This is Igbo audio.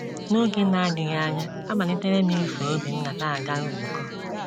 N’oge na - adịghị anya, amalitere m iso Obinna na - aga nzukọ.